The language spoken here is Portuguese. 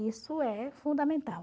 Isso é fundamental.